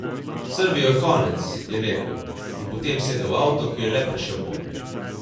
S Srbijo je konec, je rekel in potem sedel v avto, ki je le prišel ponj.